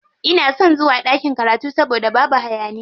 Ina son zuwa ɗakin karatu saboda babu hayaniya.